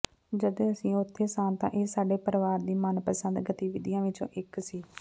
ਜਦੋਂ ਅਸੀਂ ਉੱਥੇ ਸਾਂ ਤਾਂ ਇਹ ਸਾਡੇ ਪਰਿਵਾਰ ਦੀ ਮਨਪਸੰਦ ਗਤੀਵਿਧੀਆਂ ਵਿੱਚੋਂ ਇੱਕ ਸੀ